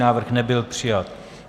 Návrh nebyl přijat.